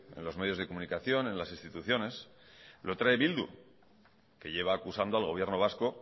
en los medios de comunicación en las instituciones lo trae bildu que lleva acusando al gobierno vasco